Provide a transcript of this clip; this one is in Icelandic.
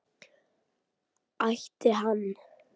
Ætti hann?